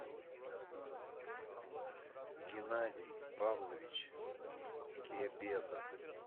геннадий павлович кебедов